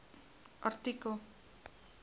artikel